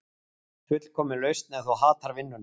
Fullkomin lausn ef þú hatar vinnuna